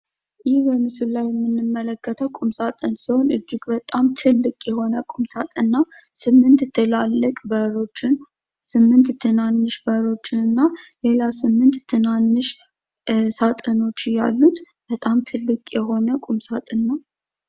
ይህ በምስሉ ላይ የምንመለከተው ቁምሳጥን ሲሆን እጅግ በጣም ትልቅ የሆነ ቁምሳጥን ነው። 8 ትላልቅ በሮችን 8 ትናንሽ በሮችንና ሌላ 8 ትናንሽ ሳጥኖችን ያሉት በጣም ትልቅ የሆነ ቁምሳጥን ነው።